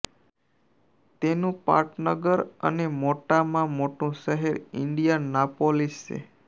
તેનું પાટનગર અને મોટામાં મોટું શહેર ઇન્ડિયાનાપોલિસ છે